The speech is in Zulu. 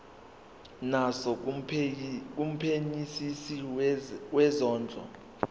naso kumphenyisisi wezondlo